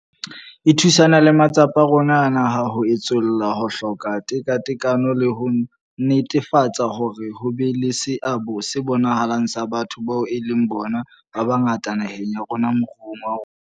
E thusana le matsapa a rona a naha a ho etsolla ho hloka tekatekano le ho netefatsa hore ho be le seabo se bonahalang sa batho bao e leng bona ba bangata naheng ya rona moruong wa rona.